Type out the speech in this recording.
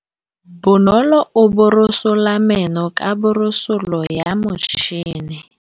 Bonolô o borosola meno ka borosolo ya motšhine.